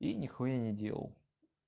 и нихуя не делал